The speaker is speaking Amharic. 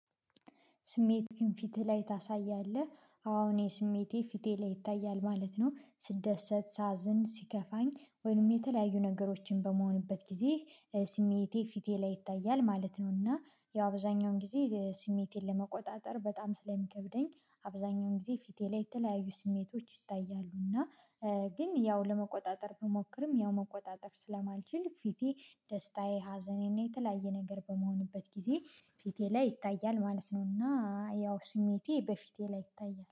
ስሜትክን ፊትህ ላይ ታሳያለህ? አዎ እኔ ስሜቴ ፊቴ ላይ ይታያል ማለት ነው ስደሰት ሳዝን ሲከፋኝ ወይም የተለያዩ ነገሮችን በመሆንበት ጊዜ ስሜቴ ፊቴ ላይ ይታያል ማለት ነው። እና ያው አብዛኛውን ጊዜ ስሜቴን ለመቆጣጠር በጣም ስለሚከብደኝ አብዛኛውን ጊዜ ፊቴ ላይ የተለያዩ ስሜቶች ይታያሉ። እና ግን ያው ለመቆጣጠር ብሞክርም ያው መቆጣጠር ስለማልችል ፊቴ ደስታዬ ሀዘኔ እና የተለያየ ነገር በመሆንበት ጊዜ ፊቴ ላይ ይታያል ማለት ነው። እና ያው ስሜቴ በፊቴ ላይ ይታያል